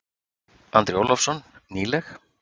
Andri Ólafsson: Nýleg?